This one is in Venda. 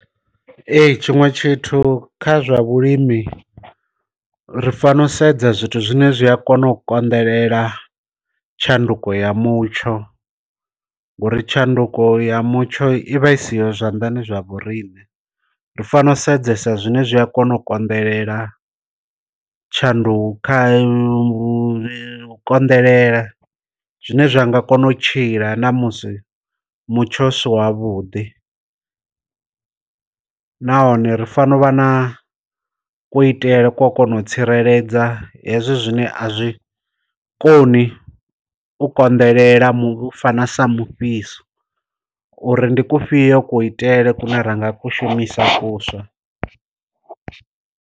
Ee tshiṅwe tshithu kha zwa vhulimi ri fano sedza zwithu zwine zwi a kona u konḓelela tshanduko ya mutsho ngori tshanduko ya mutsho i vha i siho zwanḓani zwa vhoriṋe, ri fanela u sedzesa zwine zwi a kona u konḓelela tshanduko kha u konḓelela zwine zwa nga kona u tshila na musi mutsho u si wa vhuḓi. Nahone ri fanovha na kuitele kwa kona u tsireledza hezwo zwine a zwi koni u konḓelela u fana sa mufhiso uri ndi ku fhiyo ku itele kune ranga ku shumisa kuswa.